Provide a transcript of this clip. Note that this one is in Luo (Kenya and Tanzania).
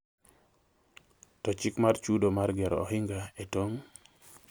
To chik mar chudo mar gero ohinga e tong'